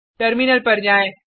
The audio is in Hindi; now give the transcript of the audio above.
टर्मिनल पर जाएँ